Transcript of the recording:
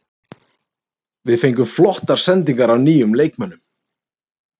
Við fengum flottar sendingar af nýjum leikmönnum.